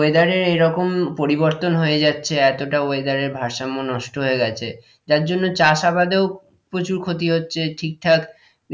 Weather এ এইরকম পরিবর্তন হয়ে যাচ্ছে এতটা weather এর ভারসাম্য নষ্ট হয়ে গেছে যার জন্য চাষ আবাদেও প্রচুর ক্ষতি হচ্ছে ঠিকঠাক